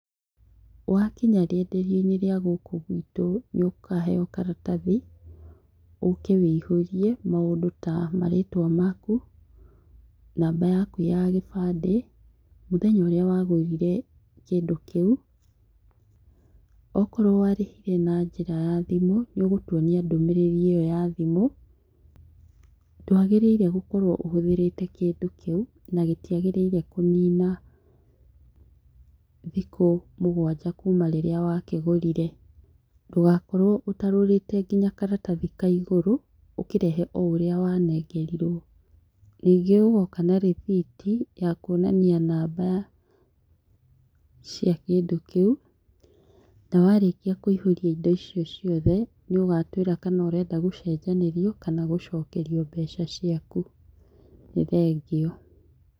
Wa kinya rĩenderio-inĩ rĩa gũkũ gwitũ nĩ ũkaheo karatathi ũke wũihũrie maũndũ ta marĩtwa maku, namba yaku ya kĩbandĩ, mũthenya ũrĩa wagũrire kũndũ kĩu, okorwo warĩhire na njĩra ya thimũ, nĩ ũgũtwonia ndũmĩrĩri ĩyo ya thimũ, ndwagĩrĩire gũkorwo ũhũthĩrĩte kĩndũ kĩu ndũbatie kũnina thikũ mũgwanja kuma rĩrĩa wa kĩgũrire, ndũgakorwo ũtarũrĩte nginya karatathi ka igũrũ ũkĩrehe ũrĩa wanengerirwo, ningĩ ũgoka na rĩthiti ya kwonania namba cia kĩndũ kĩũ na warĩkia kũiyũria indo icio ciothe nĩ ũgatwĩra kana ũrenda gũcenjanĩrio kana gũcokerio mbeca ciaku nĩ thengiũ.